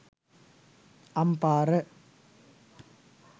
ampara